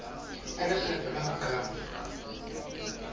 ya lekgetho la ho qala